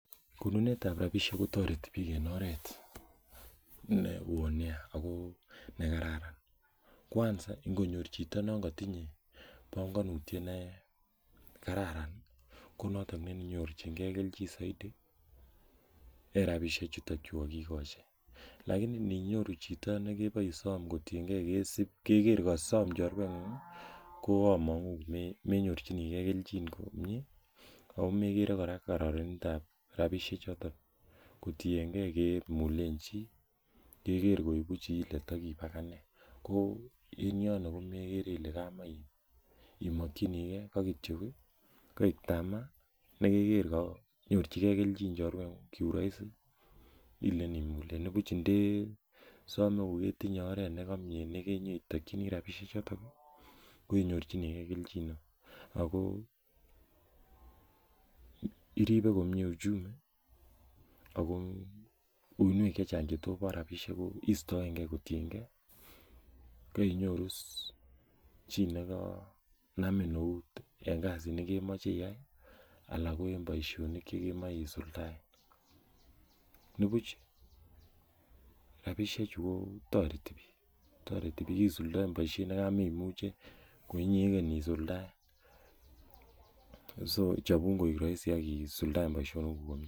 Konunetab rabisiek kotoreti biik en oret ne oo nea ako ne kararan. Kwanza, ngonyor chito non kotinye panganutiet ne kararan, ko noton nenyorchikei keljin zaidi en rabisiek chutokchu kokikochi. Lakini ninyoru chito nekebo isom kotienkei kesip, keker kasom chorwet ngung, koamangu, me-menyorchinikei keljin komyee, akomekere kora kararanetab rabisiek chotok, kotienkey kemulen chii, keker koibu chi le takiib ak ane. Ko in yondo ko mekere ile kamach imakchinikey, ka kityo, akek tamaa ne keker kanyorchikei keljin chorwet ngung kiurahisi, ilen imulen. Ibuch ndesome koketinye oret nekamiee neketakchinikei rabisiek chotok, ko inyorchinkei kejin neoo. Ako iribe komyeee uchumi, ako uinwek chechang chetobo rabisiek kuk istoenkey kotienkey kainyoru chi nekanamin eut en kasit nekemache iay, alak ko en boisonik che kemache isuldae. Nebuch, rabisiek chu kotoreti biik. Toreti biik isuldae boisiet nekameimuchen ko inyegen isuldae. So chapun koek rahisi akisuldae boisonik kuk.